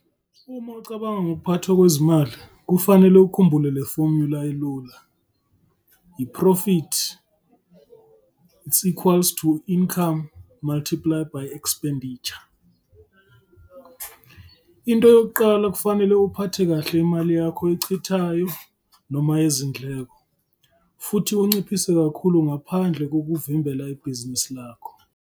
Uma ucabanga ngokuphathwa kwezimali, kufanele ukhumbula le fomula elula - I-Profit is equals to I-Income multiply by Expenditure. Into yokuqala kufanele uphathe kahle imali yakho oyichithayo noma izindleko futhi unciphise kakhulu ngaphandle kokuvimbela ibhizinisini lakho.